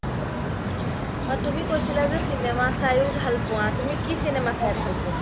তুমি কৈছিলা যে চিনেমা চাইও ভাল পুৱা তুমি কি চিনেমা চাই ভাল পুৱা ?